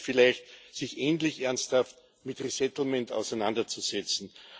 Positiv vielleicht sich endlich ernsthaft mit Neuansiedlung auseinanderzusetzen.